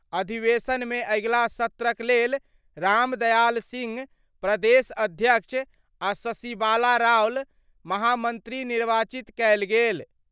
अधिवेशन मे अगिला सत्र क लेल रामदयाल सिंह प्रदेश अध्यक्ष आ शशिबाला रावल महामंत्री निर्वाचित कएल गेल।